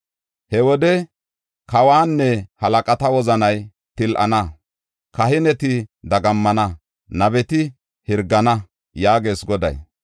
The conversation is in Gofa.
“He wode kawanne halaqata wozanay til7ana; kahineti dagammana; nabeti hirgana” yaagees Goday.